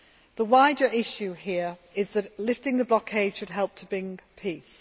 The wider issue here is that lifting the blockade should help to bring peace.